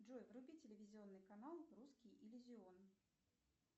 джой вруби телевизионный канал русский иллюзион